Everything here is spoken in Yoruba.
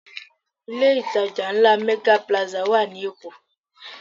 Ilé ìtajà ńlá Mega Plaza wà ní Èkó